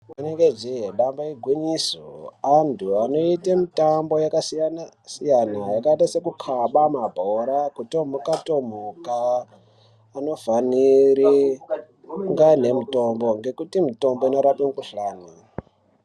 Rinenge jee damba ingwinyiso antu anoita mitambo yakasiyana-siyana yakaita sekukhaba mabhora kutomuka-tomuka vanofanira kunga anemitombo ngekuti mitombo inorape mukhuhlani.